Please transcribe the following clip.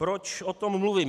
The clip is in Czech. Proč o tom mluvím.